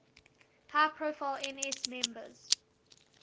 high profile ns members